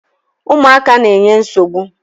Ụmụaka na-enye nsogbu.